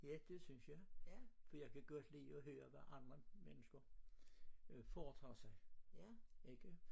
Ja det synes jeg for jeg kan godt lide at høre hvad andre mennesker øh foretager sig ikke